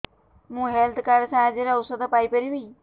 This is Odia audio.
ମୁଁ ହେଲ୍ଥ କାର୍ଡ ସାହାଯ୍ୟରେ ଔଷଧ ପାଇ ପାରିବି